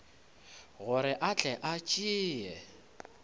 gore a tle a tšee